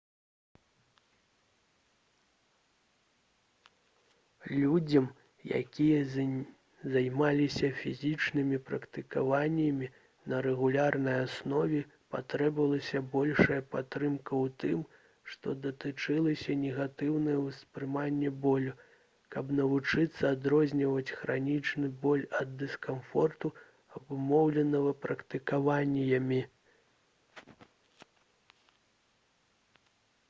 людзям якія займаліся фізічнымі практыкаваннямі на рэгулярнай аснове патрабавалася большая падтрымка ў тым што датычылася негатыўнага ўспрымання болю каб навучыцца адрозніваць хранічны боль ад дыскамфорту абумоўленага практыкаваннямі